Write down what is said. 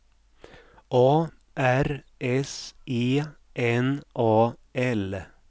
A R S E N A L